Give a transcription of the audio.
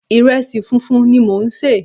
Ìrẹsì funfun ni mò ń sè.